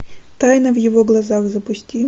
тайна в его глазах запусти